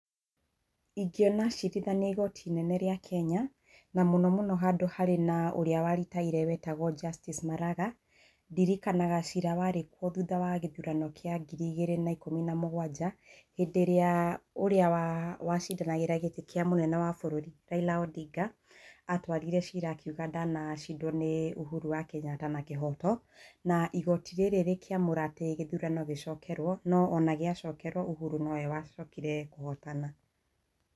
Ingĩona acirithania igoti-inĩ rĩa Kenya, na mũno mũno handũ harĩa harĩ na ũrĩa waritaire wetagwo Justice Maraga. Ndirikanaga cira warĩ kuo thutha wa gĩthurano kĩa ngĩri igĩrĩ na ikũmi na mũgwanja, hĩndĩ ĩrĩa ũrĩa wa cindanagĩra gĩtĩ kĩa mũtongoria wa bũrũri, Raila Ondinga atwarire cira akiuga ndanacindwo nĩ ũhuru wa kĩnyata na kĩhoto na igoti rĩrĩ rĩkĩamũra atĩ gĩthurano gĩcokerwo, no ona gĩacokerwo ũhuru nowe wacokire kũhotana